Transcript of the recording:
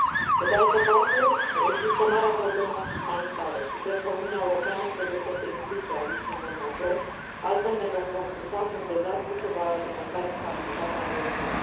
Pe de altă parte, există marea problemă umanitară și cred că Uniunea Europeană trebuie să se implice aici în mod major, altfel ne vom confrunta cu un dezastru ce va alimenta instabilitatea în regiune.